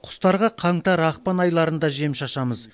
құстарға қаңтар ақпан айларында жем шашамыз